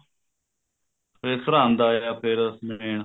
ਫ਼ਿਰ ਸਰਹਿੰਦ ਆਇਆ ਫੇਰ ਜਿਵੇਂ ਆ